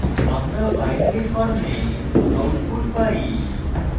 আমরা binary form output পাই